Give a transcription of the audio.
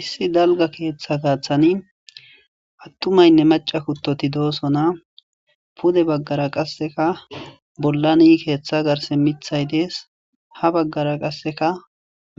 Issi dalga keeththa gaathan attumayinne macca kuttoti de7osona pude baggara qasse miththay dees ha baggara